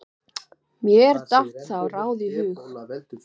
Mér datt þá ráð í hug.